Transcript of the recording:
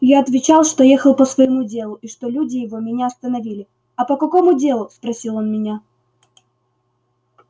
я отвечал что ехал по своему делу и что люди его меня остановили а по какому делу спросил он меня